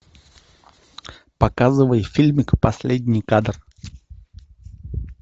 показывай фильмик последний кадр